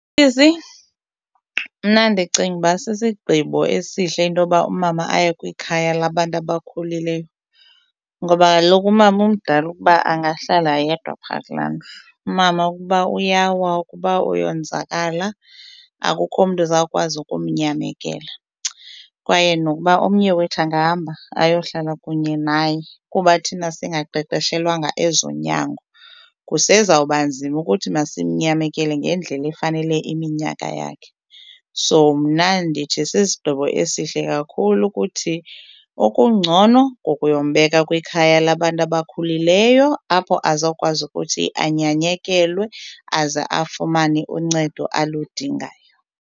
Sisi, mna ndicinga uba sisigqibo esihle into yoba umama aye kwikhaya labantu abakhulileyo ngoba kaloku umama umdala ukuba angahlala yedwa phaa kulaa ndlu. Umama ukuba uyawa, ukuba uyokonzakala akukho mntu uzawukwazi ukumnyamekela kwaye nokuba omnye wethu angahamba ayohlala kunye naye kuba thina singaqeqeshelwanga ezonyango kusezawubanzima ukuthi masimnyamekele ngendlela efanele iminyaka yakhe. So mna ndithi sisigqibo esihle kakhulu ukuthi okungcono kukuyombeka kwikhaya labantu abakhulileyo apho azokwazi ukuthi anyanyekelwe aze afumane uncedo aludingayo.